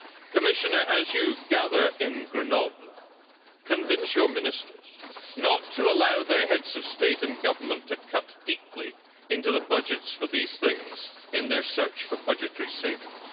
Commissioner, as you gather in Grenoble, convince your ministers not to allow their Heads of State and Government to cut deeply into the budgets for these things in their search for budgetary savings.